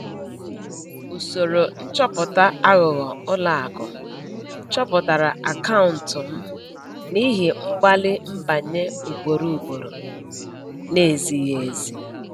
Usoro nchọpụta aghụghọ ụlọakụ chọpụtara akaụntụ m n’ihi mgbalị nbanye ugboro ugboro na-ezighi ezi.